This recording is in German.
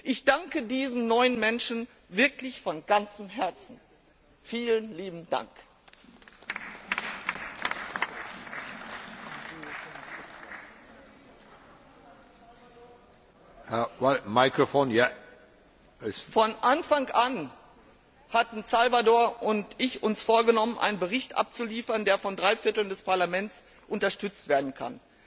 Ich danke diesen neun Menschen wirklich von ganzem Herzen! Vielen lieben Dank! Von Anfang an hatten Salvador und ich uns vorgenommen, einen Bericht abzuliefern, der von drei Vierteln des Parlaments unterstützt werden kann.